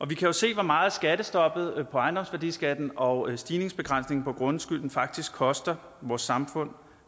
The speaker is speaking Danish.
vi kan jo se hvor meget skattestoppet på ejendomsværdiskatten og stigningsbegrænsningen på grundskylden faktisk koster vores samfund